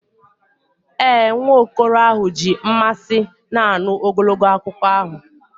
Ee, nwa okoro ahụ ji mmasị na-anụ ogologo akụkọ ahụ.